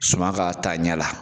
Suman ka taa ɲɛ la